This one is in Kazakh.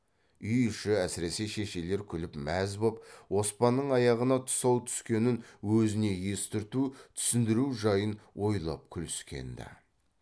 үй іші әсіресе шешелер күліп мәз боп оспанның аяғына тұсау түскенін өзіне естірту түсіндіру жайын ойлап күліскен ді